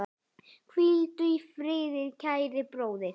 Hvíldu í friði, kæri bróðir.